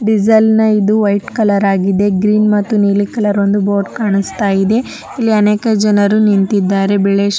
Diesel ನ ಇದು white colour ಆಗಿದೆ. ಗ್ರೀನ್ ಮತ್ತು ನೀಲಿ ಕಲರ್ ಒಂದು ಬೋರ್ಡ್ ಕಾಣಸ್ತಾಯಿದೆ. ಇಲ್ಲಿ ಅನೇಕ ಜನರು ನಿಂತಿದ್ದಾರೆ. ಬಿಲೇಶ್ --